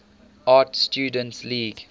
art students league